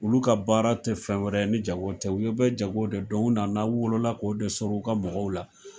Olu ka baara tɛ fɛn wɛrɛ ni jago tɛ, u be jago de dɔn u nana u wolola k'o de sɔrɔ u ka mɔgɔw la.